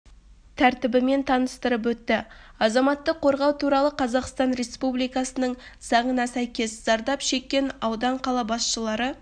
тәртібімен таныстырып өтті азаматтық қорғау туралы қазақстан республикасының заңына сәйкес зардап шеккен аудан қала басшылары